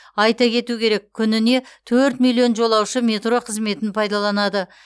айта кету керек күніне төрт миллион жолаушы метро қызметін пайдаланады